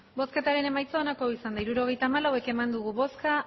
hirurogeita hamalau eman dugu bozka